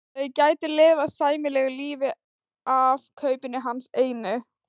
Þau gætu lifað sæmilegu lífi af kaupinu hans einu.